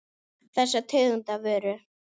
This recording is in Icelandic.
Þessa tegund af vöru.